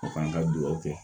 O kan ka duwawu kɛ